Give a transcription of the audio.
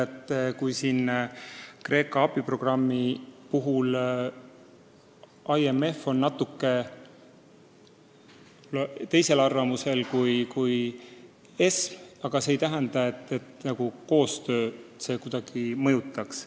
Aga kui näiteks Kreeka abiprogrammi puhul on IMF olnud veidi teisel seisukohal kui ESM-i juhid, siis see ei tähenda, et see kuidagi koostööd mõjutaks.